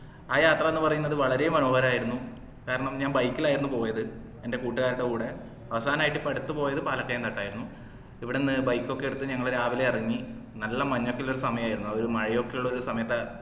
ആ യാത്രന്ന് പറയുന്നത് വളരെ മനോഹരം ആയിരുന്നു കാരണം ഞാൻ bike ഇലായിരുന്നു പോയത് എന്റെ കൂട്ടുകാരുടെ കൂടെ അവസാനായിട്ട് ഈ അടുത്ത് പോയത് പാലക്കയം തട്ടായിരുന്നു ഇവിടന്നു bike ഒക്കെ എടുത്ത് ഞങ്ങൾ രാവിലെ എറങ്ങി നല്ല മഞ്ഞൊക്കെ ഉള്ള ഒരു സമയായിരുന്നു അത് മഴയൊക്കെ ഉള്ളൊരു സമയത്താ